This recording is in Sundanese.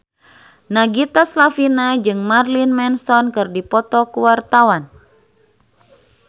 Nagita Slavina jeung Marilyn Manson keur dipoto ku wartawan